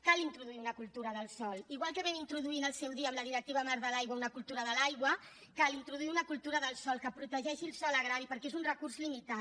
cal introduir una cultura del sòl igual que vam introduir en el seu dia amb la directiva marc de l’aigua una cultura de l’aigua cal introduir una cultura del sòl que protegeixi el sòl agrari perquè és un recurs limitat